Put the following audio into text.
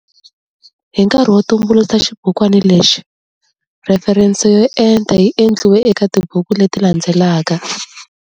Hi nkarhi wo tumbuluxa xibukwana lexi, rheferense yo enta yi endliwe eka tibuku leti landzelaka.